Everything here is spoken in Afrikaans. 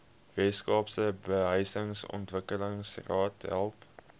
weskaapse behuisingsontwikkelingsraad help